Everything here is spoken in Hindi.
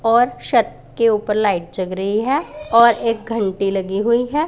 और छत के ऊपर लाइट जग रही है और एक घंटी लगी हुई है।